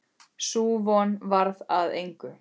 Sú von varð að engu.